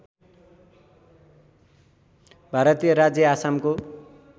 भारतीय राज्य आसामको